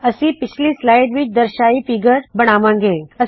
ਅਸੀ ਪਿਛਲੀ ਸਲਾਇਡ ਵਿੱਚ ਦਰਸ਼ਾਈ ਫ਼ੀਗਰ ਖਾਕਾ ਫਿਗਰ ਬਣਾਵਾ ਗੇ